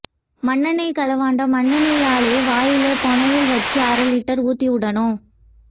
மண்ணெண்ணெய் களவாண்ட மண்ணெண்ணெய்யே வாயிலே போனயல் வச்சி அரை லிட்டர் ஊத்தி உடனும்